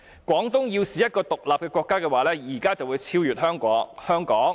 "；"廣東要是一個'獨立國'的話，現在會超過香港。